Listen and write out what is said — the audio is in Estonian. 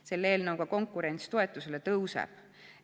Selle eelnõuga konkurents toetusele tõuseb.